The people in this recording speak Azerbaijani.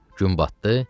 Gün batdı,